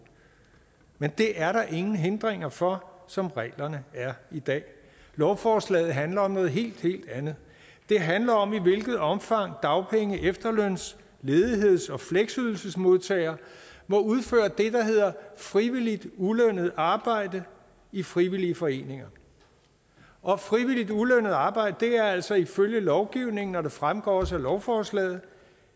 men det er der ingen hindringer for som reglerne er i dag lovforslaget handler om noget helt helt andet det handler om i hvilket omfang dagpenge efterløns ledigheds og fleksydelsesmodtagere må udføre det der hedder frivilligt ulønnet arbejde i frivillige foreninger og frivilligt ulønnet arbejde er altså ifølge lovgivningen og det fremgår også af lovforslaget